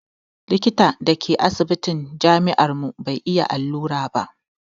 Likitan da ke asibitin jami'ar mu bai iya allura ba